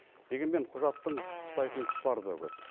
дегенмен құжаттың пысықтайтын тұстары да көп